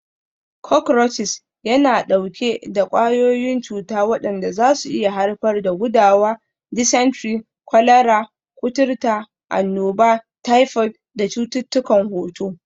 Cockroaches yana ɗauke da ƙwayoyin cuta waɗanda zasu iya haifar da gudawa, dysentery, kwalara, kuturta, annoba, typhoid da cututtukan hoto.